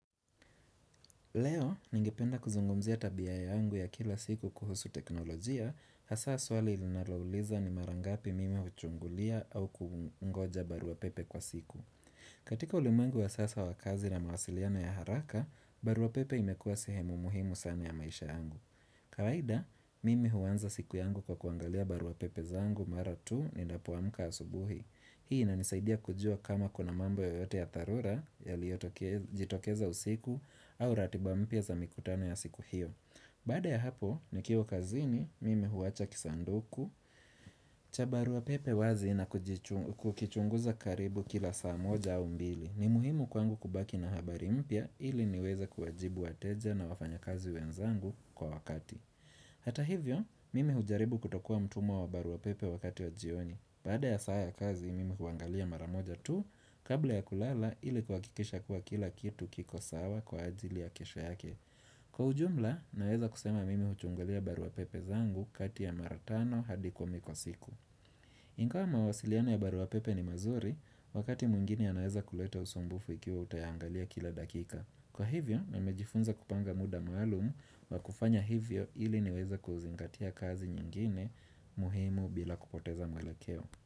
Leo, ningependa kuzungumzia tabia yangu ya kila siku kuhusu teknolojia, hasa swali linalouliza ni mara ngapi mimi huchungulia au kungoja baruapepe kwa siku. Katika ulimwengu ya sasa wa kazi na mawasiliano ya haraka, baruapepe imekua sehemu muhimu sana ya maisha yangu. Kawaida, mimi huanza siku yangu kwa kuangalia baruapepe zangu mara tu ninapoamka asubuhi. Hii inanisaidia kujua kama kuna mambo yoyote ya dharura yaliyojitokeza usiku au ratiba mpya za mikutano ya siku hiyo Baada ya hapo nikiwa kazini mimi huacha kisanduku cha baruapepe wazi na kukichunguza karibu kila saa moja au mbili ni muhimu kwangu kubaki na habari mpya ili niweze kuwajibu wateja na wafanyakazi wenzangu kwa wakati Hata hivyo mimi hujaribu kutokua mtumwa wa barua pepe wakati wa jioni Baada ya saa ya kazi, mimi huangalia mara moja tu, kabla ya kulala ili kuhakikisha kuwa kila kitu kiko sawa kwa ajili ya kesho yake. Kwa ujumla, naweza kusema mimi huchungulia baruapepe zangu kati ya mara tano hadi kumi kwa siku. Ingawa mawasiliano ya baruapepe ni mazuri, wakati mwingini yanaweza kuleta usumbufu ikiwa utaiangalia kila dakika. Kwa hivyo, nimejifunza kupanga muda maalumu wa kufanya hivyo ili niweze kuzingatia kazi nyingine muhimu bila kupoteza mwelekeo.